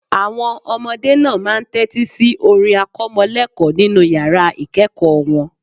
Àwọn ọmọdé náà máa ń tẹ́tí si orin akọ́mọlẹ́ẹ̀kọ́ nínu yàrá ìkẹ́ẹ̀kọ̀ wọn